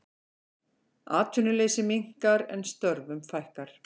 Atvinnuleysi minnkar en störfum fækkar